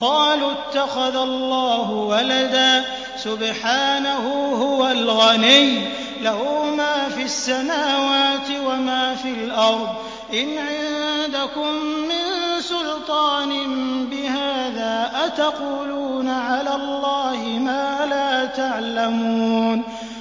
قَالُوا اتَّخَذَ اللَّهُ وَلَدًا ۗ سُبْحَانَهُ ۖ هُوَ الْغَنِيُّ ۖ لَهُ مَا فِي السَّمَاوَاتِ وَمَا فِي الْأَرْضِ ۚ إِنْ عِندَكُم مِّن سُلْطَانٍ بِهَٰذَا ۚ أَتَقُولُونَ عَلَى اللَّهِ مَا لَا تَعْلَمُونَ